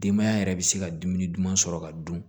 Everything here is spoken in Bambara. Denbaya yɛrɛ bɛ se ka dumuni duman sɔrɔ ka dun